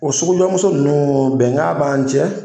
O sugujɔ lmuso ninnu bɛnkan b'an cɛ